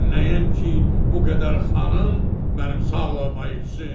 Mən nəyəm ki, bu qədər xanım mənim sağlığıma içsin?